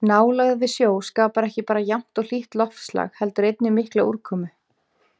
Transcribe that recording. Nálægð við sjó skapar ekki bara jafnt og hlýtt loftslag heldur einnig mikla úrkomu.